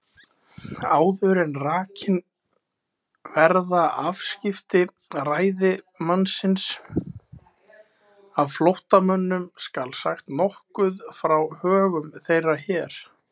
Áður en rakin verða afskipti ræðismannsins af flóttamönnum, skal sagt nokkuð frá högum þeirra hér.